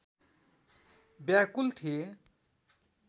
व्याकुल थिए